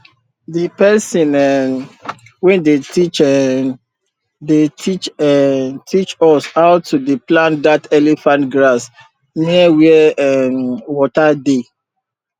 the pesin um wey dey teach um dey teach um teach us how to dey plant that elephant grass near where um water dey